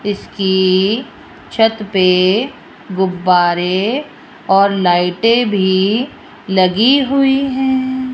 इसकी छत पे गुब्बारे और लाइटें भी लगी हुई है।